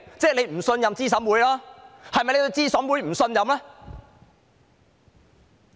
這等於不信任資審會，這是否對資審會不信任呢？